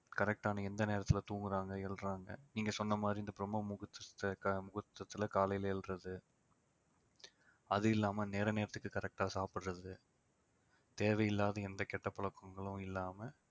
correct ஆ எந்த நேரத்துல தூங்குறாங்க எழறாங்க நீங்க சொன்ன மாதிரி இந்த பிரம்ம முகூர்த்தத்துல க~ முகூர்த்தத்துல காலையில எழறது அது இல்லாம நேர நேரத்துக்கு correct ஆ சாப்பிடுறது தேவையில்லாத எந்த கெட்ட பழக்கங்களும் இல்லாம